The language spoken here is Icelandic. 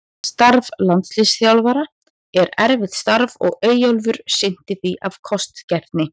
Starf landsliðsþjálfara er erfitt starf og Eyjólfur sinnti því af kostgæfni.